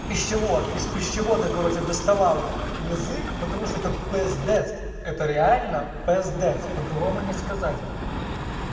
пищевод из пищевода короче доставал язык потому что это пиздец это реально пиздец по-другому не сказать